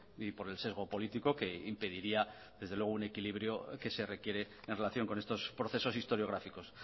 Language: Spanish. y por el sesgo político que impediría desde luego un equilibrio que se requiere en relación con estos procesos historiográficos